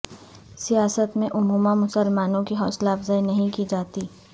سیاست میں عموما مسلمانوں کی حوصلہ افزائی نہیں کی جاتی